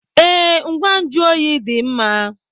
Ee, ngwa nju oyi dị mma.